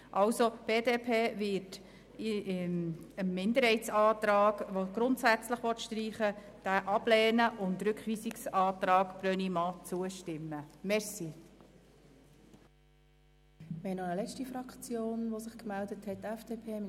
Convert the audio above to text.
Die BDP wird den Minderheitsantrag ablehnen, der das Wort «grundsätzlich» streichen will, und dem Rückweisungsantrag Brönnimann zustimmen.